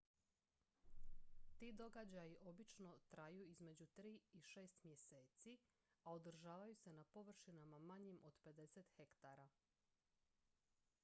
ti događaji obično traju između tri i šest mjeseci a održavaju se na površinama manjim od 50 hektara